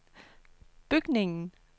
bygningen